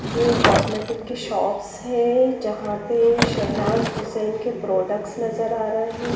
ये कॉस्मेटिक की शॉप्स है जहां पे शहनाज हुसैन के प्रोडक्ट्स नजर आ रहे--